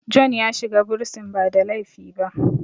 John ya shiga bursin ba da laifi ba